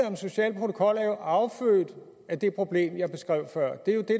om social protokol er jo affødt af det problem jeg beskrev før det er jo det